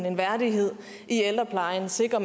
en værdighed i ældreplejen sikre